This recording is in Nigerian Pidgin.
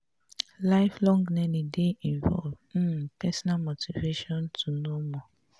life long learning dey involve um personal motivation to know more